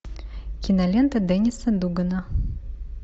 кинолента денниса дугана